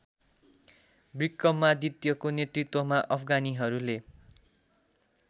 विक्रमादित्यको नेतृत्वमा अफगानीहरूले